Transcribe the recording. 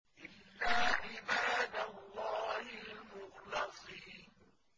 إِلَّا عِبَادَ اللَّهِ الْمُخْلَصِينَ